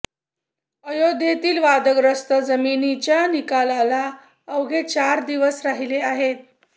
अयोध्येतील वादग्रस्त जमिनीच्या निकालाला अवघे चारच दिवस राहिले आहेत